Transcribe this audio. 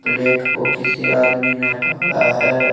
Plate को किसी आदमी ने पकड़ा है।